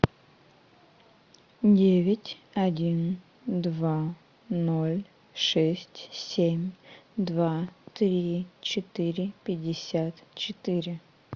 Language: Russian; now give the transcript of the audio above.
девять один два ноль шесть семь два три четыре пятьдесят четыре